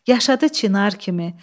Yaşadı Çinar kimi.